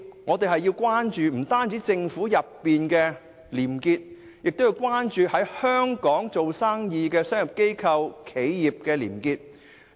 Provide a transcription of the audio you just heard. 我們不單要關注政府內部的廉潔，亦要關注在香港做生意的商業機構和企業的廉潔。